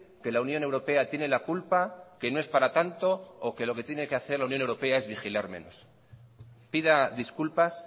que la unión europea tiene la culpa que no es para tanto o que lo que tiene que hacer la unión europea es vigilar menos pida disculpas